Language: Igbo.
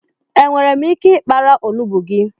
Enwèrè m ike I kpara onugbu gị?